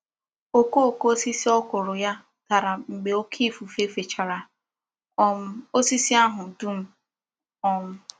Okooko osisi okra ya dara mgbe oke ifufe fechara um osisi ahụ dum. um